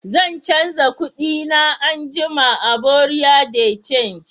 zan canza kudi na anguma a "buerea de change".